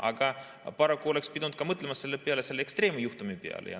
Aga paraku oleks pidanud ka mõtlema selle peale, selle ekstreemse juhtumi peale.